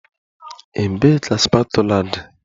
Ebee ka spatula dị?